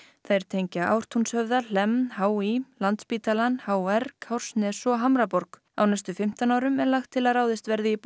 þær tengja Ártúnshöfða Hlemm h í Landspítalann h r Kársnes og Hamraborg á næstu fimmtán árum er lagt til að ráðist verði í